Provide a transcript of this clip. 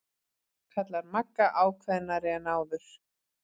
kallar Magga ákveðnari en áður.